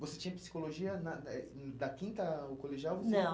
Você tinha psicologia na eh da quinta ao colegial, você... Não.